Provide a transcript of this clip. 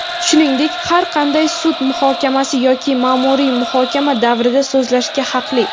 shuningdek har qanday sud muhokamasi yoki maʼmuriy muhokama davrida so‘zlashga haqli.